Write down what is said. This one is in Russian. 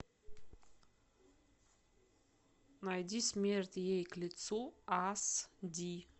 найди смерть ей к лицу ас ди